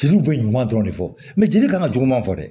Jeliw bɛ ɲuman dɔrɔn de fɔ mɛ jeli kan ka juguman fɔ dɛ